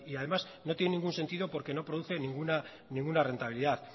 además no tiene ningún sentido porque no produce ninguna rentabilidad